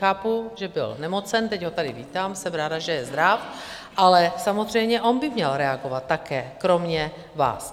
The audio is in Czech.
Chápu, že byl nemocen, teď ho tady vítám, jsem ráda, že je zdráv, ale samozřejmě on by měl reagovat také kromě vás.